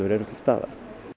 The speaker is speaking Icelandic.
eru til staðar